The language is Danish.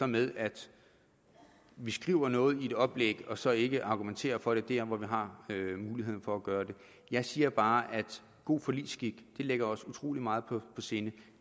med at vi skriver noget i et oplæg og så ikke argumenterer for det der hvor vi har muligheden for at gøre det jeg siger bare at god forligsskik ligger os utrolig meget på sinde